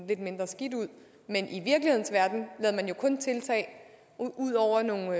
lidt mindre skidt ud men i virkelighedens verden ud over nogle